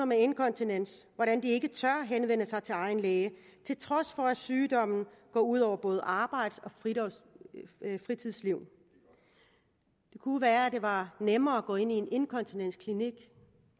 med inkontinens hvordan de ikke tør henvende sig til egen læge til trods for at sygdommen går ud over både arbejds og fritidsliv det kunne være det var nemmere at gå ind i en inkontinensklinik